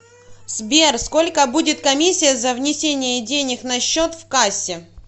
сбер сколько будет комиссия за внесение денег на счет в кассе